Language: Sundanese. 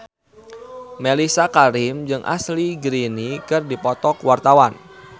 Mellisa Karim jeung Ashley Greene keur dipoto ku wartawan